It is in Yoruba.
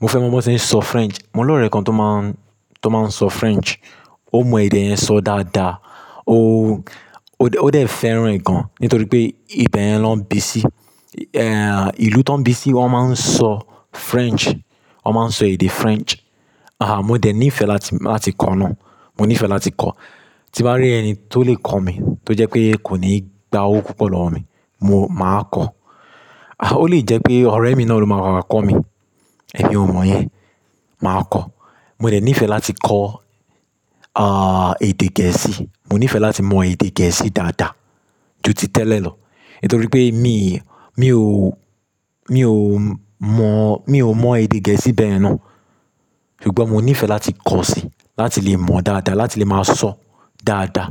Mo fẹ́ mọ bí wọ́n ṣe ń sọ French. Mo ní ọ̀rẹ́ kan tó máa ń, tó máa ń sọ French. Ó mọ èdè yẹn sọ dáadáa. Ó, ó dẹ̀, ó dẹ̀ fẹ́ràn rẹ̀ gan, nítorí pé ibẹ̀ yẹn ló ń bí sí. Ilú tó ń bí sí wọ́n máa ń sọ French. Wọ́n máa ń sọ èdè French. Aha, mo dẹ̀ nífẹ̀ẹ́ láti, láti kọ́ náà. Mo nífẹ̀ẹ́ láti kọ́. Tí bá rí ẹni tó lè kọ́ mi, tó jẹ pé kò ní gbá owó púpọ̀ lọ́wọ́ mi, mo máa kọ́. Ó lè jẹ́ pé ọ̀rẹ́ mi náà ló máa mà wà kọ́ mi. Ẹ̀mi ò mọ̀ yẹn. Màá kọ́. Mo dẹ̀ nífẹ̀ẹ́ láti kọ́ edè gẹ̀ẹ́sì. Mo nífẹ̀ẹ́ láti mọ èdè gẹ̀ẹ́sì dáadáa ju ti tẹ́lẹ̀ lọ. Nítorí pé mi, mi ò, mi ò mọ̀, mi ò mọ èdè gẹ̀ẹ́sì bẹ́ẹ̀ ye náà. Ṣùgbọ́n mo nífẹ̀ẹ́ láti kọ́ si, láti lè mọ̀ dáadáa, láti lè máa sọ dáadáa.